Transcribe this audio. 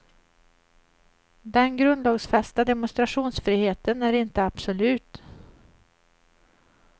Den grundlagsfästa demonstrationsfriheten är inte absolut.